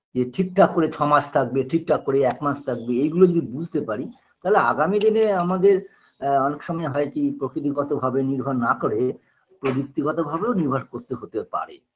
যে ঠিকঠাক করে ছমাস থাকবে ঠিকঠাক করে একমাস থাকবে এগুলো যদি বুঝতে পারি তালে আগামী দিনে আমাদের আ অনেক সময় হয়কি প্রকৃতিগতভাবে নির্ভর না করে প্রবৃত্তিগতভাবেও নির্ভর করতে হতে পারে